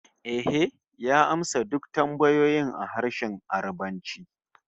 Ehh, ya amsa duk tambayoyin a harshen Yarbanci